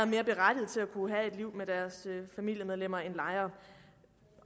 mere berettigede til at kunne have et liv med deres familiemedlemmer end lejere